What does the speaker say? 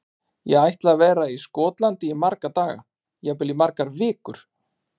Ég ætla að vera í Skotlandi í marga daga, jafnvel í margar vikur.